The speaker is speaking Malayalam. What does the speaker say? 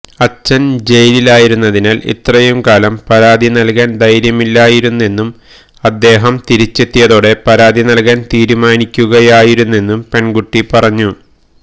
അച്ഛൻ ജയിലിലായിരുന്നതിനാൽ ഇത്രയുംകാലം പരാതിനൽകാൻ ധൈര്യമില്ലായിരുന്നെന്നും അദ്ദേഹം തിരിച്ചെത്തിയതോടെ പരാതിനൽകാൻ തീരുമാനിക്കുകയായിരുന്നെന്നും പെൺകുട്ടി പറഞ്ഞു